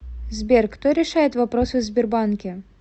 сбер кто решает вопросы в сбербанке